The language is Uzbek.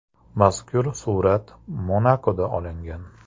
Mazkur surat Monakoda olingan.